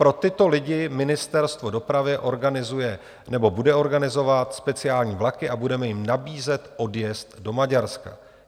Pro tyto lidi Ministerstvo dopravy organizuje nebo bude organizovat speciální vlaky a budeme jim nabízet odjezd do Maďarska.